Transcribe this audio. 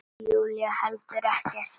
Júlía heldur ekkert.